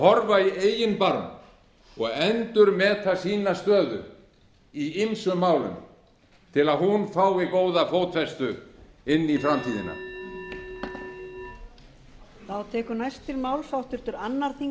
horfa í eigin barm og endurmeta sína stöðu í ýmsum málum til að hún fái góða fótfestu inn í framtíðina